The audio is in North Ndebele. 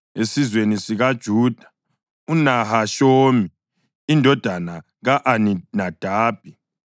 esizweni sikaJuda, uNahashoni indodana ka-Aminadabi;